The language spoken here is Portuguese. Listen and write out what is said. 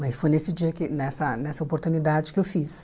Mas foi nesse dia que nessa nessa oportunidade que eu fiz.